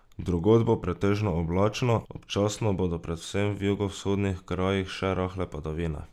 Drugod bo pretežno oblačno, občasno bodo predvsem v jugovzhodnih krajih še rahle padavine.